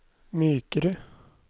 mykere